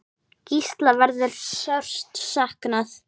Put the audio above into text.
Gísla verður sárt saknað.